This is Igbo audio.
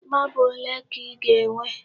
Marble ole ka ị ga-enwe?